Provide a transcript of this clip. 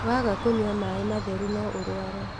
Waaga kũnyua maaĩ matheru no ũrũare